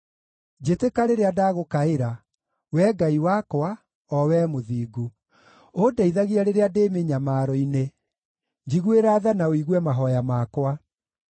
Njĩtĩka rĩrĩa ndagũkaĩra, Wee Ngai wakwa, o Wee mũthingu. Ũndeithagie rĩrĩa ndĩ mĩnyamaro-inĩ; njiguĩra tha na ũigue mahooya makwa.